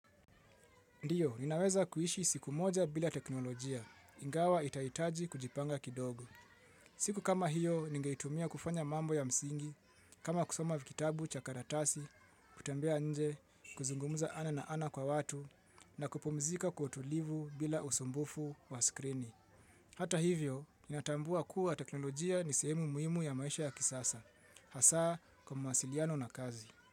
Ndiyo, ninaweza kuishi siku moja bila teknolojia, ingawa itahitaji kujipanga kidogo. Siku kama hiyo, ningeitumia kufanya mambo ya msingi, kama kusoma vitabu cha karatasi, kutembea nje, kuzungumza ana na ana kwa watu, na kupumzika kwa utulivu bila usumbufu wa skrini. Hata hivyo, nina tambua kuwa teknolojia ni sehemu muhimu ya maisha ya kisasa. Hasaa kwa mawasiliano na kazi.